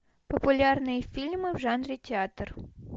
популярные фильмы в жанре театр